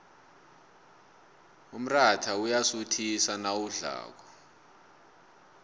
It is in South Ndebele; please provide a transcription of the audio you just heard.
umrayha uyasuthisa nawudlako